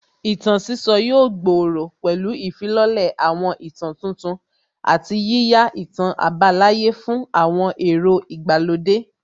Ìtàn sísọ yóò gbòòrò pẹ̀lú ìfilọ́lẹ̀ àwọn ìtàn tuntun àti yíyá ìtàn àbálàyé fún àwọn èrò ìgbàlódé